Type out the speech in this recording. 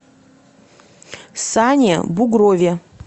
сане бугрове